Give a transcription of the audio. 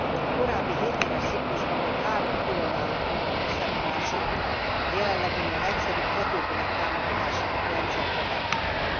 A korábbi hétéves ciklusban még három különálló program összevonása a jelenleginél egyszerűbb, hatékonyabb támogatási rendszert jelent majd.